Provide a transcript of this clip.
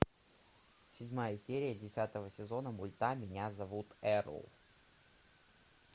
седьмая серия десятого сезона мульта меня зовут эрл